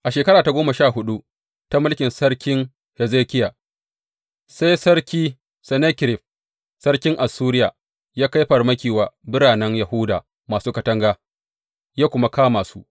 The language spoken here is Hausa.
A shekara ta goma sha huɗu ta mulkin sarkin Hezekiya, sai sarki Sennakerib sarkin Assuriya ya kai farmaki wa biranen Yahuda masu katanga ya kuma kama su.